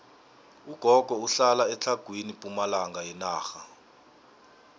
ugogo uhlala etlhagwini pumalanga yenarha